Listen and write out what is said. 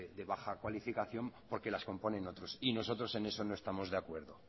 de baja cualificación porque las componen otros y nosotros en eso no estamos de acuerdo